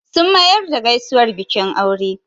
Sun mayar da gaisuwar bikin aure